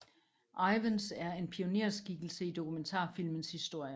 Ivens er en pionerskikkelse i dokumentarfilmens historie